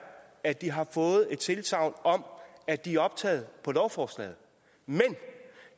at de har fået et tilsagn om at de er optaget på lovforslaget men